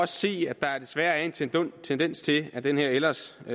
se at der desværre er en tendens til at den her ellers så